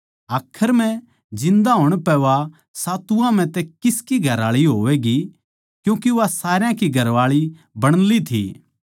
आखर म्ह जिन्दा होण पै वा सातुवां म्ह तै किसकी घरआळी होवैगी क्यूँके वा सारया की घरआळी बण ली थी